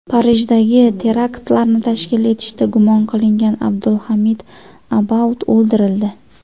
Parijdagi teraktlarni tashkil etishda gumon qilingan Abdulhamid Abaud o‘ldirildi.